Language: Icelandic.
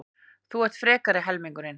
Þú ert frekari helmingurinn.